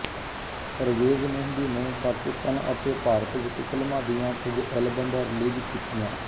ਪਰਵੇਜ਼ ਮੇਹਦੀ ਨੇ ਪਾਕਿਸਤਾਨ ਅਤੇ ਭਾਰਤ ਵਿੱਚ ਫ਼ਿਲਮਾਂ ਦੀਆਂ ਕੁਝ ਐਲਬਮਾਂ ਰਿਲੀਜ਼ ਕੀਤੀਆਂ